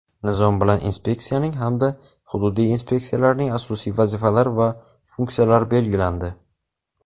Nizom bilan inspeksiyaning hamda hududiy inspeksiyalarning asosiy vazifalari va funksiyalari belgilandi.